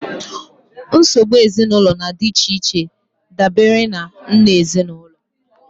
Nsogbu ezinụlọ dị iche iche dabere na nha ezinụlọ